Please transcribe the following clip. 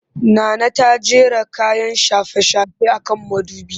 Nana ta jera kayan shafe-shafe a kan mudubi